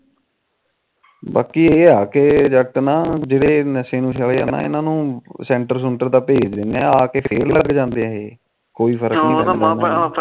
ਬਾਕੀ ਇਹ ਆ ਕਿ ਜੱਟ ਨਾ ਇਹ ਜਿਹੜੇ ਨਸ਼ੇ ਨੁਸ਼ੇ ਇਹਨਾ ਨੂੰ ਸੈਂਟਰ ਸੂੰਟਰ ਤਾ ਭੇੇਜ ਦਿੰਦੇ ਆ ਆਕੇ ਫੇਰ ਲੱਗ ਜਾਂਦੇ ਇਹ ਕੋਈ ਗੱਲ ਨੀ